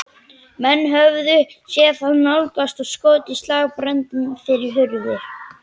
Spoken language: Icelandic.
Menn höfðu séð þá nálgast og skotið slagbröndum fyrir hurðir.